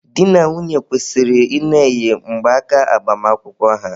Di na nwunye kwesịrị ị na-eyi mgbaaka agbamakwụkwọ ha.